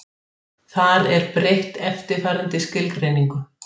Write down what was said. Ef til vill mundu að lokum myndast hringar um jörðina svipað og á Satúrnusi.